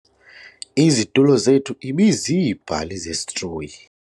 Izitulo zethu ibiziibhali zesitroyi.